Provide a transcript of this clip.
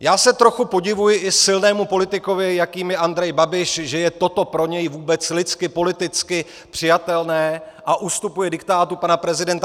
Já se trochu podivuji i silnému politikovi, jakým je Andrej Babiš, že je toto pro něj vůbec lidsky, politicky přijatelné a ustupuje diktátu pana prezidenta.